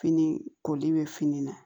Fini koli bɛ fini na